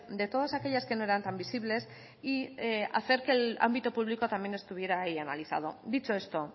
de todas aquellas que no eran tan visibles y hacer que el ámbito público también estuviera ahí analizado dicho esto